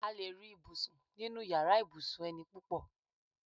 A lè rí ibùsùn nínu yàrá ibùsùn eni púpọ̀